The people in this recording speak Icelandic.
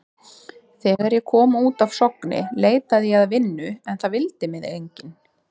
Þegar ég kom út af Sogni leitaði ég að vinnu en það vildi mig enginn.